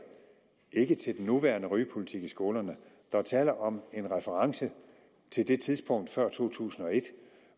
ikke til den nuværende rygepolitik i skolerne der er tale om en reference til det tidspunkt før to tusind og et